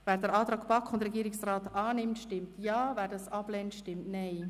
Wer den Antrag von BaK und Regierungsrat annimmt, stimmt Ja, wer diesen ablehnt, stimmt Nein.